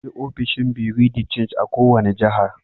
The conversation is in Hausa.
Akwai ofishin bureau de change a' kowani jihar.